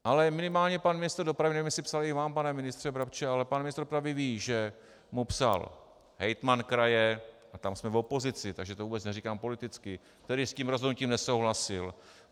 Ale minimálně pan ministr dopravy - nevím, jestli psal i vám, pane ministře Brabče - ale pan ministr dopravy ví, že mu psal hejtman kraje, a tam jsme v opozici, takže to vůbec neříkám politicky, který s tím rozhodnutím nesouhlasil.